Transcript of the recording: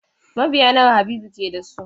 Mabiya nawa Habibu ke da su?